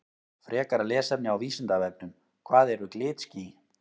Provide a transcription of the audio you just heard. Frekara lesefni á Vísindavefnum Hvað eru glitský?